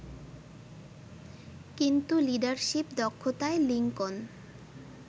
কিন্তু লিডারশিপ দক্ষতায় লিংকন